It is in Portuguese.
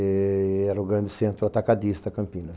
Era o grande centro atacadista Campinas.